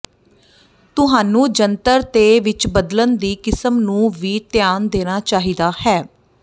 ਤੁਹਾਨੂੰ ਜੰਤਰ ਤੇ ਵਿੱਚ ਬਦਲਣ ਦੀ ਕਿਸਮ ਨੂੰ ਵੀ ਧਿਆਨ ਦੇਣਾ ਚਾਹੀਦਾ ਹੈ